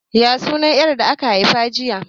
Ya sunan 'yar da aka haifa jiya?